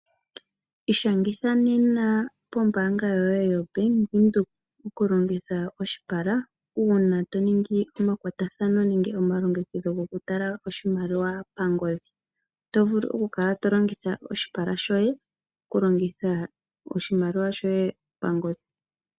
Ishangitha nena pombaanga yoye yoBank Windhoek okulongitha oshipala uuna to ningi omakwatathano nenge omalongekidho gokutala oshimaliwa pangodhi. Oto vulu okukala to longitha oshipala shoye okulongitha oshimaliwa shoye pangodhi.